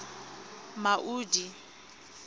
maudi